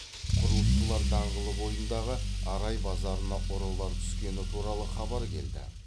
құрылысшылар даңғылы бойындағы арай базарына ұрылар түскені туралы хабар келді